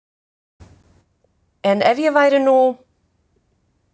En ef ég væri nú.